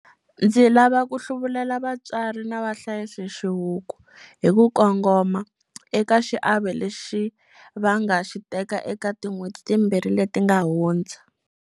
Ndzi lava ku hluvulela vatswari na vahlayisi xihuku, hi ku kongoma, eka xiave lexi va nga xi teka eka tin'hweti timbirhi leti nga hundza.